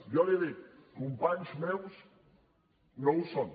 jo li dic companys meus no ho són